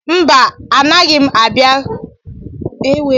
Mba, anaghị m abịa Kumasi, Ghana n'afọ na-abịa abịa.